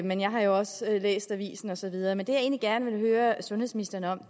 men jeg har jo også læst avisen og så videre men det jeg egentlig gerne vil høre sundhedsministeren om